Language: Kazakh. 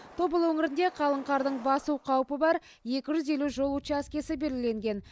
тобыл өңірінде қалың қардың басу қаупі бар екі жүз елу жол учаскесі белгіленген